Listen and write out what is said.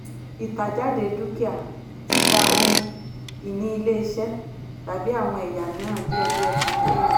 ìtàjáde dúkìá - títa ohun-ìní ilé-iṣẹ́ tàbí àwọn ẹ̀yà mìíràn díẹ̀díẹ̀ fún èrè.